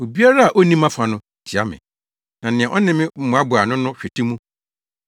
“Obiara a onni mʼafa no, tia me. Na nea ɔne me mmoaboa ano no hwete mu.